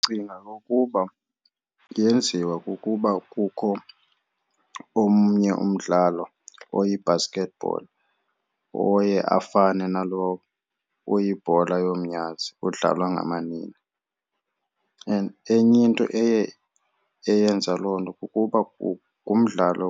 Ndicinga ukuba yenziwa kukuba kukho omnye umdlalo oyi-basketball oye afane nalo uyibhola yomnyazi udlalwa ngamanina. And enye into eye eyenza loo nto kukuba ngumdlalo